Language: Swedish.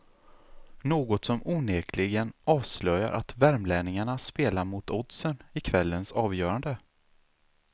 Något om onekligen avslöjar att värmlänningarna spelar mot oddsen i i kvällens avgörande.